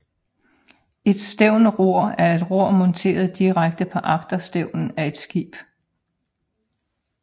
Et stævnror er et ror monteret direkte på agterstævnen af et skib